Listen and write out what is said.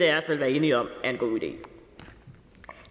af os vel være enige om er en god idé